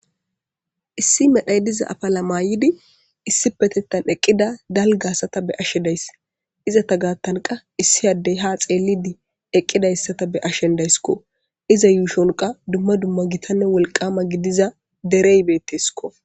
Issi medhay diza afala maydi issi petettan eqqida dalgasata be'she dayss izata gaattanqa issi addey ha xeellidi eqqidayssata be ashendaysikko iza yuushonqa dumma dumma gitanne wolqama gidiza dereybeettesiko.